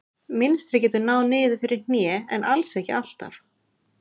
Mynstrið getur náð niður fyrir hné en alls ekki alltaf.